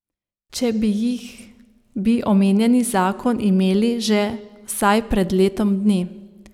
Če bi jih, bi omenjeni zakon imeli že vsaj pred letom dni.